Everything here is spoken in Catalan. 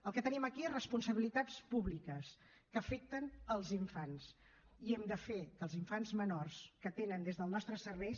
el que tenim aquí són responsabilitats públiques que afecten els infants i hem de fer que els infants menors que tenen des dels nostres serveis